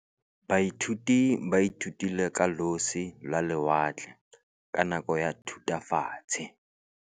Baithuti ba ithutile ka losi lwa lewatle ka nako ya Thutafatshe.